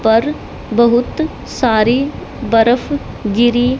पर बहुत सारी बरफ गिरी--